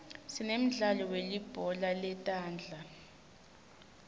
sinemdlalo welibhola letandza